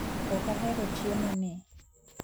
Okahero chiemo ni